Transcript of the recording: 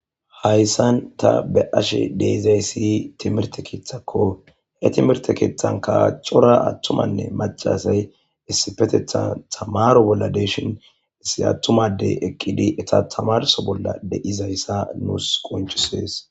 hayssan ta be ashe deizayssi timirte keethakko he timirte keeththan kacora attumanne macasay issifetethan tamaro bolla deeshin issi attumadey eqqidi eta tamarso bolla de7izayssa nuus qonchisees